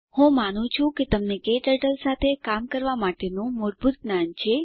હું માનું છું કે તમને ક્ટર્ટલ સાથે કામ કરવા માટેનું મૂળભૂત જ્ઞાન છે